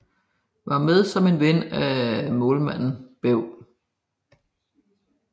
Var med som en ven af målmanden Bew